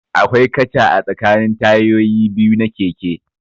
Akwai katcha a tsakanin tayoyi biyu na keke